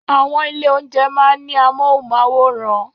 Àwọn ilé-oúnjẹ máa ń ní amóhùnmáwòràn